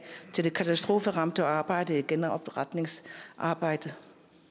til katastrofearbejdet og genopretningsarbejdet